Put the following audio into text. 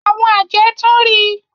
Àwọn àjẹ́ tun ri.